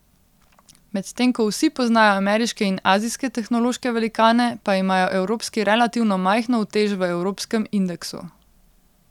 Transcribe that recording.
Medtem ko vsi poznajo ameriške in azijske tehnološke velikane, pa imajo evropski relativno majhno utež v evropskem indeksu.